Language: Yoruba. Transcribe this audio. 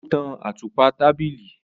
O tàn àtùpà tábìlì